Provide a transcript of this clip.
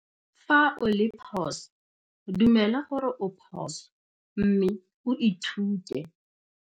Fa o le phoso, dumela gore o phoso mme o ithute.